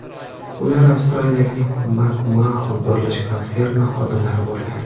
Ular Avstraliyaning Macmahon qurilish konserni xodimlari bo‘lgan.